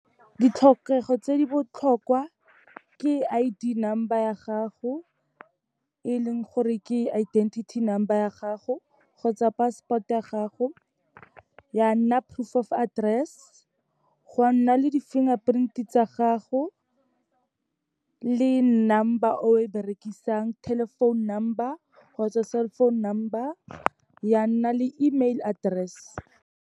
Ditlhokego tse di botlhokwa, ke I_D number ya gago, e leng gore ke identity number ya gago kgotsa passport ya gago, ya nna proof of address, gwa nna le di-fingerprint-e tsa gago, le number o e berekisang, telephone number kgotsa cell phone number, ya nna le email address.